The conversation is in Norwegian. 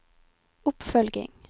oppfølging